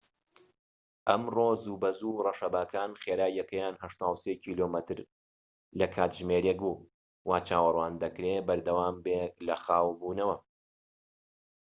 ئەمڕۆ زووبەزوو، ڕەشەباکان خێراییەکەیان ٨٣ کیلۆمەتر/کاتژمێرێك بوو، وا چاوەڕوان دەکرێت بەردەوامبێت لە خاوبوونەوە